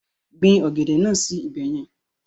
Gbin ọ̀gẹ̀dẹ̀ náà sí ibẹ̀ yẹn.